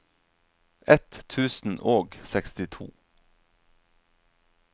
ett tusen og sekstito